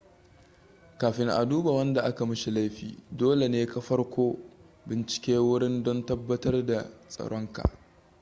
kafin a duba wanda aka mishi laifi dole ne ka farko bincike wurin don tabbatar da tsaronka